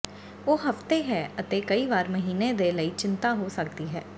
ਉਹ ਹਫ਼ਤੇ ਹੈ ਅਤੇ ਕਈ ਵਾਰ ਮਹੀਨੇ ਦੇ ਲਈ ਚਿੰਤਾ ਹੋ ਸਕਦੀ ਹੈ